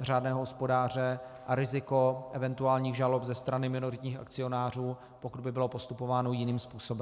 řádného hospodáře a riziko eventuálních žalob ze strany minoritních akcionářů, pokud by bylo postupováno jiným způsobem.